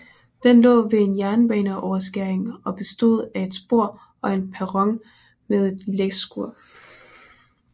Den lå ved en jernbaneoverskæring og bestod af et spor og en perron med et læskur